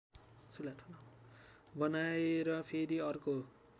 बनाएर फेरि अर्को